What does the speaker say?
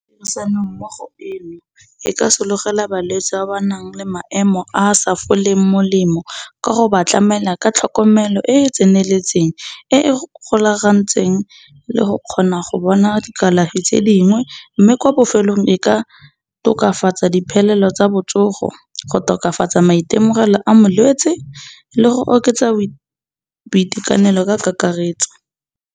Tirisanommogo eno e ka sologela balwetsi ba ba nang le maemo a sa foleng molemo, ka go ba tlamela ka tlhokomelo e e tseneletseng, e e golagantseng le go kgona go bona dikalafi tse dingwe, mme ko bofelelong, e ka tokafatsa diphelelo tsa botsogo, go tokafatsa maitemogelo a molwetsi le go oketsa boitekanelo ka kakaretso.